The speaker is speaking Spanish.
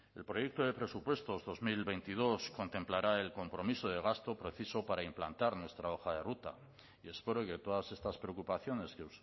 el proyecto de presupuestos dos mil veintidós contemplará el compromiso de gasto preciso para implantar nuestra hoja de ruta y espero que todas estas preocupaciones que